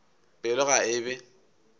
pelo ka ge e be